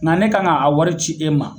Nka ne kan ka a wari ci e ma